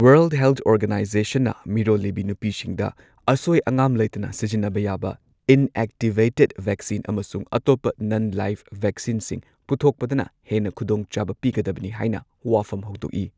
World health ꯑꯣꯔꯒꯅꯥꯏꯖꯦꯁꯟꯅ ꯃꯤꯔꯣꯜꯂꯤꯕꯤ ꯅꯨꯄꯤꯁꯤꯡꯗ ꯑꯁꯣꯏ ꯑꯉꯥꯝ ꯂꯩꯇꯅ ꯁꯤꯖꯤꯟꯅꯕ ꯌꯥꯕ ꯏꯟꯑꯦꯛꯇꯤꯚꯦꯇꯦꯗ ꯚꯦꯛꯁꯤꯟ ꯑꯃꯁꯨꯡ ꯑꯇꯣꯞꯄ ꯅꯟ ꯂꯥꯏꯕ ꯚꯦꯛꯁꯤꯟꯁꯤꯡ ꯄꯨꯊꯣꯛꯄꯗꯅ ꯍꯦꯟꯅ ꯈꯨꯗꯣꯡꯆꯥꯕ ꯄꯤꯒꯗꯕꯅꯤ ꯍꯥꯏꯅ ꯋꯥꯐꯝ ꯍꯧꯗꯣꯛꯏ꯫